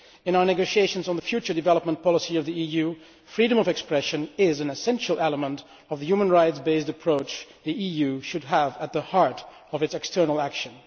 In our negotiations on the future development policy of the EU, freedom of expression is an essential aspect of the human rights based approach that the EU should have at the heart of its external action.